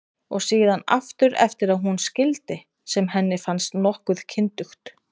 Og síðan aftur eftir að hún skildi, sem henni fannst nokkuð kyndugt.